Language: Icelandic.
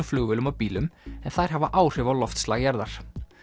flugvélum og bílum en þær hafa áhrif á loftslag jarðar